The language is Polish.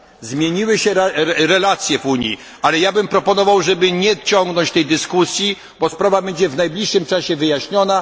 Zmieniły się relacje w Unii, ale ja bym proponował, żeby nie ciągnąć tej dyskusji, bo sprawa będzie w najbliższym czasie wyjaśniona.